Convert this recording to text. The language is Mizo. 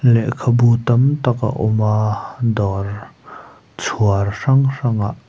lehkhabu tam tak a awm a dawr chhuar hrang hrang ah.